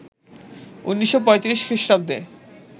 ১৯৩৫ খ্রিস্টাব্দে